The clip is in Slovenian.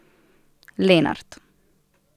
Lenart.